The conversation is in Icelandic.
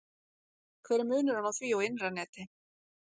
hver er munurinn á því og innra neti